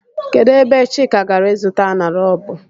Kedụ ebe Chika gara ịzụta aṅara ọ bụ?